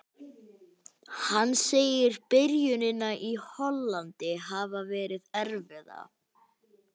Hann segir byrjunina í Hollandi hafa verið erfiða.